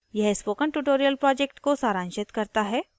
यह spoken tutorial project को सारांशित करता है